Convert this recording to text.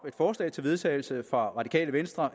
forslag til vedtagelse op fra radikale venstre